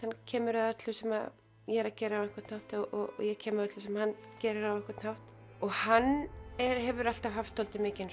kemur að öllu sem ég er að gera á einhvern hátt og ég kem að öllu sem hann gerir á einhvern hátt og hann hefur alltaf haft mikinn